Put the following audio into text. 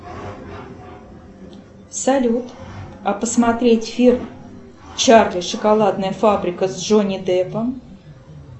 салют а посмотреть фильм чарли шоколадная фабрика с джонни деппом